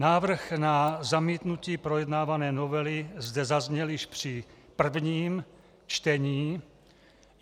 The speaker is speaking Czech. Návrh na zamítnutí projednávané novely zde zazněl již při prvním čtení.